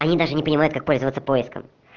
она даже не понимают как пользоваться поиском